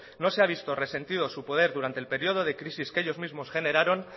se ha visto resentido su poder durante el periodo de crisis que ellos mismo generaron